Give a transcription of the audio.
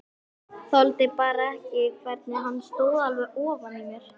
Þoldi bara ekki hvernig hann stóð alveg ofan í mér.